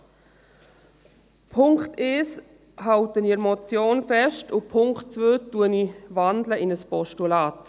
Beim Punkt 1 halte ich an der Motion fest, den Punkt 2 wandle ich in ein Postulat.